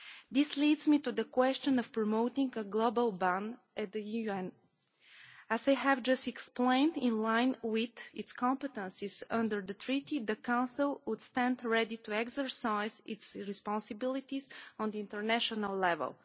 This leads me to the question of promoting a global ban at the UN. As I have just explained, in line with its competences under the Treaty, the Council would stand ready to exercise its responsibilities on the international level.